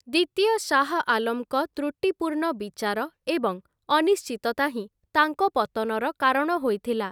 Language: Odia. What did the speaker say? ଦ୍ୱିତୀୟ ଶାହ ଆଲମଙ୍କ ତ୍ରୁଟିପୂର୍ଣ୍ଣ ବିଚାର ଏବଂ ଅନିଶ୍ଚିତତା ହିଁ ତାଙ୍କ ପତନର କାରଣ ହୋଇଥିଲା ।